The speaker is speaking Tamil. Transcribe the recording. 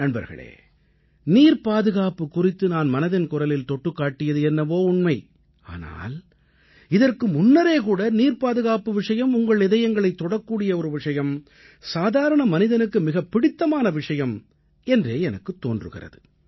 நண்பர்களே நீர்ப் பாதுகாப்பு குறித்து நான் மனதின் குரலில் தொட்டுக் காட்டியது என்னவோ உண்மை ஆனால் இதற்கு முன்னரே கூட நீர்ப்பாதுகாப்பு விஷயம் உங்கள் இதயங்களைத் தொடக்கூடிய ஒரு விஷயம் சாதாரண மனிதனுக்கு மிகப் பிடித்தமான விஷயம் என்றே எனக்குத் தோன்றுகிறது